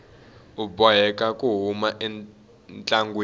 u boheka ku huma entlangwini